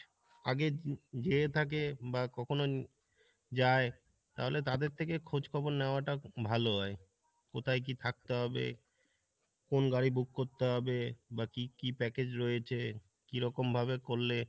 আগে যেয়ে থাকে বা কখনো যাই তাহলে তাদের থেকে খোঁজ খবর নেওয়া টা ভালো হয়, কোথায় কী থাকতে হবে কোন গাড়ি book করতে হবে বা কি কি package রয়েছে কীরকম ভাবে করলে